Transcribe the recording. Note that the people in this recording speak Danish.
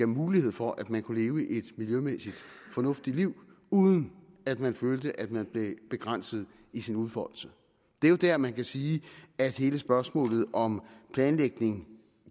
mulighed for at man kunne leve et miljømæssigt fornuftigt liv uden at man følte at man blev begrænset i sin udfoldelse det er jo dér man kan sige at hele spørgsmålet om planlægning